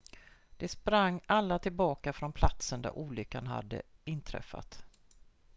de sprang alla tillbaka från platsen där olyckan hade inträffat